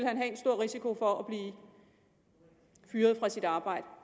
han have en stor risiko for at blive fyret fra sit arbejde